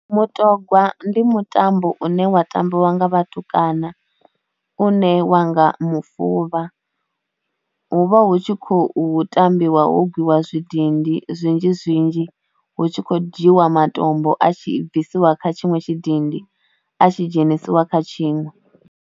Mutogwa ndi mutambo une wa tambiwa nga vhatukana une wanga mufuvha hu vha hu tshi khou tambiwa ho gwiwa zwidindi zwinzhi zwinzhi, hu tshi khou dzhiiwa matombo a tshi bvisiwa kha tshiṅwe tshidindi a tshi dzhenisiwa kha tshiṅwe.